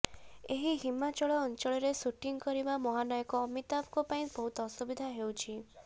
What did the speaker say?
ଏହି ହିମାଚଳ ଅଂଚଳରେ ସୁଟିଂ କରିବା ମହାନୟକ ଅମିତାଭଙ୍କ ପାଇଁ ବହୁତ ଅସୁବିଧା ହେଉଛି